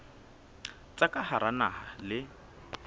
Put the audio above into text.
tsa ka hara naha le